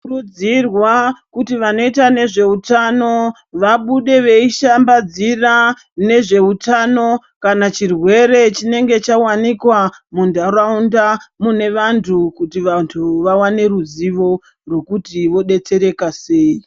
Kurudzirwa kuti vanoita nezve utano vabude veishambadzira nezveutano kana chirwere chinenge chawanikwa mundaraunda munevantu kuti vantu vawane ruzivo rwekuti vodetsereka sei